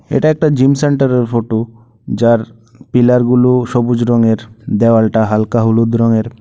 এটা একটা gym centre এর ফোটো যার পিলার গুলো সবুজ রঙের দেওয়ালটা হালকা হলুদ রঙের।